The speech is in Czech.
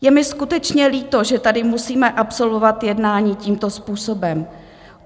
Je mi skutečně líto, že tady musíme absolvovat jednání tímto způsobem.